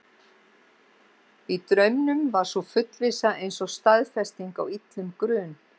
Í draumnum var sú fullvissa eins og staðfesting á illum grun.